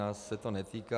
Nás se to netýká.